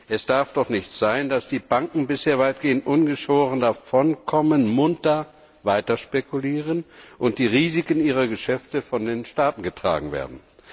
Es darf doch nicht sein, dass die Banken bisher weitgehend ungeschoren davonkommen, munter weiterspekulieren und die Risiken ihrer Geschäfte von den Staaten getragen werden!